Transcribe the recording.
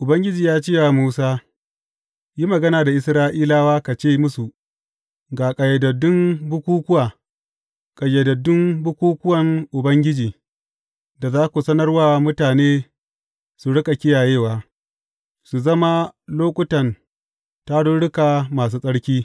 Ubangiji ya ce wa Musa, Yi magana da Isra’ilawa, ka ce musu, Ga ƙayyadaddun bukukkuwa, ƙayyadaddun bukukkuwan Ubangiji, da za ku sanar wa mutane su riƙa kiyayewa, su zama lokutan tarurruka masu tsarki.